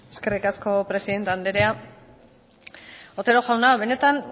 eskerrik asko presidente andrea otero jauna benetan